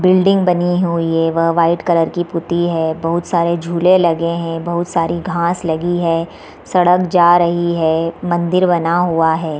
building बनी हुई है वह वाइट कलर की पुति है | बहुत सारे झूले लगे हैं बहुत सारी घास लगी है | सड़क जा रही है | मंदिर बना हुआ है |